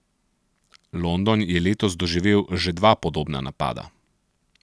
London je letos doživel že dva podobna napada.